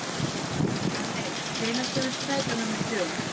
Valey, hvenær kemur strætó númer þrjú?